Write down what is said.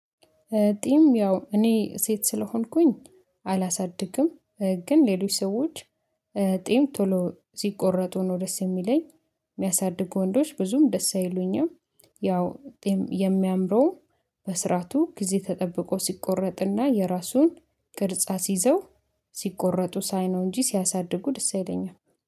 ጢም ያው እኔ ሴት ስለሆንኩኝ አላሳድግም ግን ሌሎች ሰዎች ጢም ቶሎ ሲቆረጡ ነው ደስ የሚለኝ የሚያሳድጉ ወንዶች ብዙም ደስ አይሉኝም ያው የሚያምረው በስራቱ ጊዜ ተጠብቆ ሲቆረጥና የራሱን ቅርጽ አስይዘው ሲቆረጡ ሳይነው እንጂ ሲያሳድጉ ደስ አይለኝም።